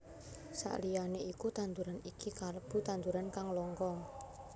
Saliyané iku tanduran iki kalebu tanduran kang langka